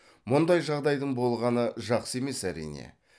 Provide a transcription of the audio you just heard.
мұндай жағдайдың болғаны жақсы емес әрине